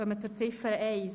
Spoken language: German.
zum AFP 2019–2021 ab.